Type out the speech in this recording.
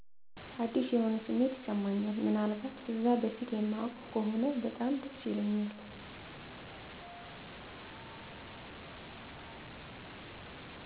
አዲስ የሆነ ስሜት ይስማኛል ምን አልባት እዛ በፊት እማውቀው ከሆነ በጣም ደስ ይለኛል።